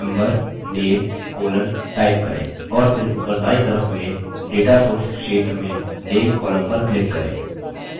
और फिर ऊपर दायीं तरफ में data sources क्षेत्र में name column पर click करें